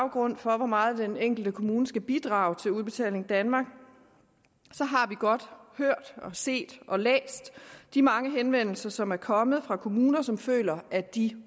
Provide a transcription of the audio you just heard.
grund for hvor meget den enkelte kommune skal bidrage til udbetaling danmark så har vi godt hørt set og læst de mange henvendelser som er kommet fra kommuner som føler at de